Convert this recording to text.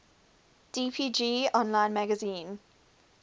dpg online magazine